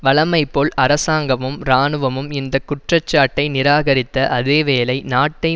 வழமைபோல் அரசாங்கமும் இராணுவமும் இந்த குற்றச்சாட்டை நிராகரித்த அதே வேளை நாட்டை